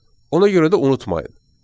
Ona görə də unutmayın.